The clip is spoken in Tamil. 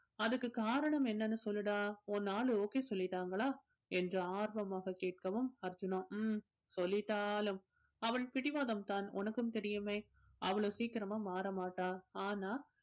அதுக்கு காரணம் என்னன்னு சொல்லுடா உன் ஆளு okay சொல்லிட்டாங்களா என்று ஆர்வமாக கேட்கவும் அர்ஜுனோ ம்ம் சொல்லிட்டாலும் அவள் பிடிவாதம் தான் உனக்கும் தெரியுமே அவ்ளோ சீக்கிரமா மாற மாட்டா ஆனா